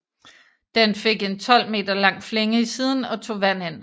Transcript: Den fik en 12 meter lang flænge i siden og tog vand ind